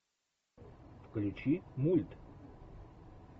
включи мульт